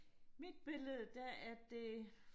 mit billede der er det